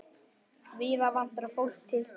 Víða vantar fólk til starfa.